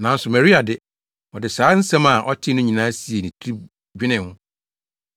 Nanso Maria de, ɔde saa nsɛm a ɔtee no nyinaa siee ne tirim dwenee ho.